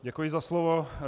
Děkuji za slovo.